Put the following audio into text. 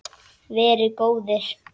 Verið góðir!